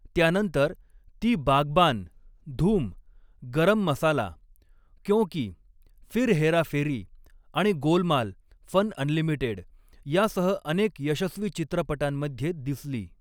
त्यानंतर, ती बागबान, धूम, गरम मसाला, क्यों की, फिर हेरा फेरी आणि गोलमाल फन अनलिमिटेड यासह अनेक यशस्वी चित्रपटांमध्ये दिसली.